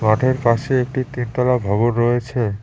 মাঠের পাশে একটি তিনতলা ভবন রয়েছে।